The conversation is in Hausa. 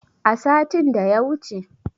A satin da ya wuce.